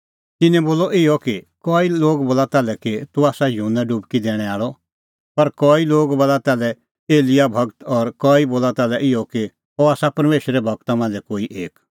तिन्नैं बोलअ इहअ कई लोग बोला ताल्है कि तूह आसा युहन्ना डुबकी दैणैं आल़अ पर कई लोग बोला ताल्है एलियाह गूर और कई बोला ताल्है इहअ कि अह आसा परमेशरे गूरा मांझ़ै ई कोई एक